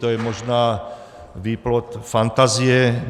To je možná výplod fantazie.